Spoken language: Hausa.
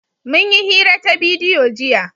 Mun yi hira ta bidiyo jiya.